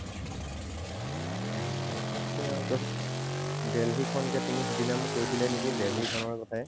Delhi খন, এতিয়া তুমি মোক সিদিনা মোক কৈছিলাই নেকি Delhi খনৰ কথায়ে।